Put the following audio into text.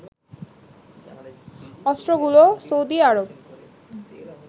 অস্ত্রগুলো Saudi Arab